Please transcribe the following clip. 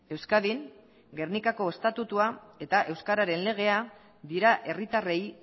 euskadin gernikako estatutua eta euskararen legea dira herritarrei